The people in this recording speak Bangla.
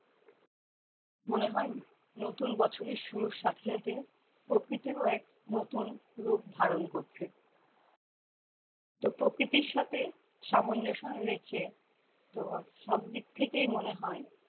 মনে হয় নতুন বছরের শুরুর সাথে সাথে প্রকৃতিও এক নতুন রূপ ধারণ করছে তো প্রকৃতির সাথে সামঞ্জস্য রেখে তো সবদিক থেকেই মনে হয়